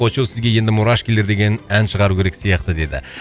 очоу сізге енді мурашкилер деген ән шығару керек сияқты деді